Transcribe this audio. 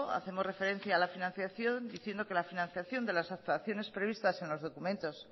hacemos referencia a la financiación diciendo que la financiación de las actuaciones previstas en los documentos